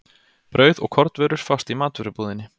Brauð og kornvörur fást í matvörubúðinni.